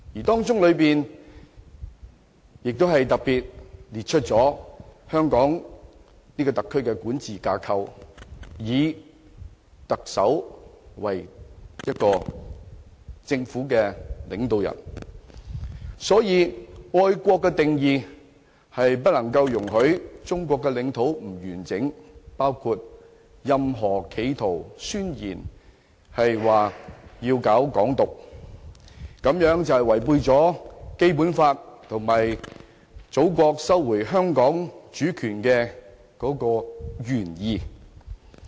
當中特別列出香港特區的管治架構，以特首為政府領導人。所以，愛國的定義是不容許中國領土不完整的，包括任何企圖要搞"港獨"的宣言，這是違背了《基本法》及祖國收回香港的原意。